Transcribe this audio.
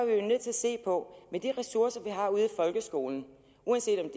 se på at de ressourcer vi har ude i folkeskolen uanset om